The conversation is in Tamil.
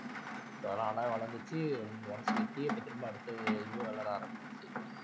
so அதெல்லாம் நல்லாவே வளர்ந்துச்சு once வெட்டியே இப்ப திரும்ப அடுத்து இதுவே வளர ஆரம்பிச்சிருச்சு